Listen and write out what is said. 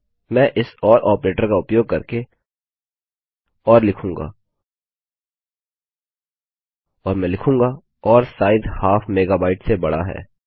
मैं इस or operator का उपयोग करके ओर लिखूँगा और मैं लिखूँगा ओर साइज हाफ मेगाबाइट से बड़ा है